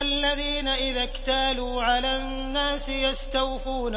الَّذِينَ إِذَا اكْتَالُوا عَلَى النَّاسِ يَسْتَوْفُونَ